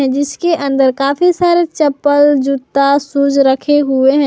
जिसके अंदर काफी सारे चप्पल जूता शूज रखे हुए हैं।